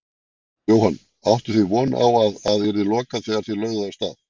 Jóhann: Áttuð þið von á að að yrði lokað þegar þið lögðuð af stað?